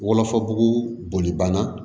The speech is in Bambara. Wolofa bugu boli banna